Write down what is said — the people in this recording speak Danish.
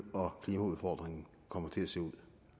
og klimaudfordringen kommer til at se ud